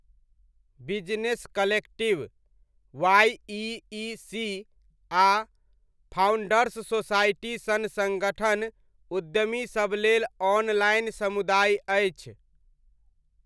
Business collective, YEC आ founders society सन सङ्गठन उद्यमीसब लेल ऑनलाइन समुदाय अछि।